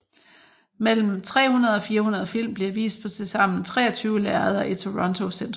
Mellem 300 og 400 film bliver vist på tilsammen 23 lærreder i Toronto centrum